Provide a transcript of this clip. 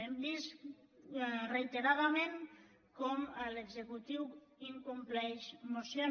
hem vist reiteradament com l’executiu incompleix mocions